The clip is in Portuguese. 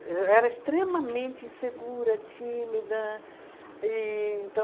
Eu era extremamente insegura, tímida, e então...